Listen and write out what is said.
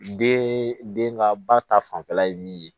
Den den ka ba ta fanfɛla ye min ye